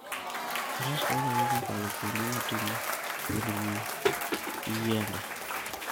Faras konyo ahinya e kalo kuonde motimo lwendni gi yiende.